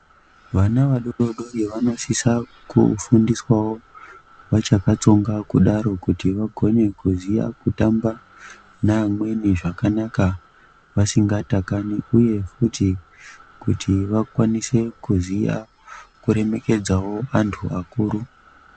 Vana vadodori vanosisa kufundiswa wo vachakatsonga kudaro kuti vagone kuziva kutamba navamweni zvakana vasingatakani uye kuti ,kuti vakwanise kuziva kuremekedza vantu vakuru.